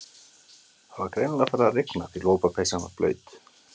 Það var greinilega farið að rigna því lopapeysan var blaut.